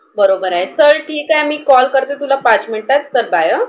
बरोबर आहे. चल ठीक आहे मी call करते तुला पाच मिनिटांत. चल bye ह.